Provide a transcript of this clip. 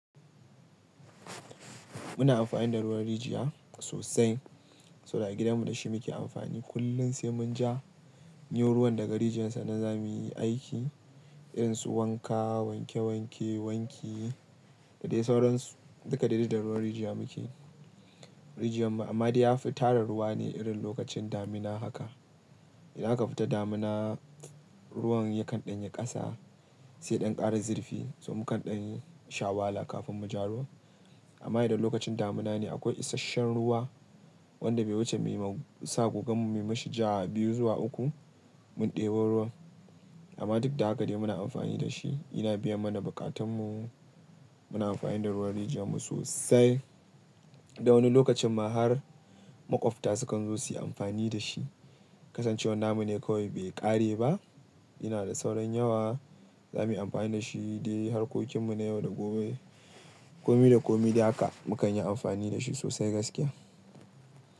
Muna amfani da ruwan rijiya sosai, saboda a gidanmu da shi muke amfani kullum sai mun ja. Janyo ruwan daga rijiyar sannan zamuyi aiki irin su wanka, wanke-wanke, wanki da dai sauran duka daidai da ruwan rijiya muke. Rijiyar mu amma dai yafi tara ruwa ne irin lokacin damina haka. Idan aka fita damina ruwan yakan ɗan yi ƙasa sai ɗan ƙara zirfi sai mukan ɗan sha wahala kafin mu ja ruwa. Amma idan lokacin damina ne akwai isasshen ruwa wanda bai wuce muyi ma sa kogan mu mishi ja biyu zuwa uku mun ɗebo ruwan. Amma duk da haka dai muna amfani da shi yana biya mana buƙatunmu. Muna amfani da ruwan rijiyar mu sosai. Dan wani lokacin ma har maƙwabta su kan zo su yi amfani dashi. Kasancewar namu ne kawai bai ƙare ba ina da sauran yawa zamuyi amfani da shi dai harkokin mu na yau da gobe. Komi da komi dai haka mukan yi amfani da shi sosai gaskiya.